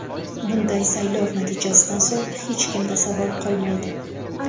Bunday saylov natijasidan so‘ng hech kimda savol qolmaydi.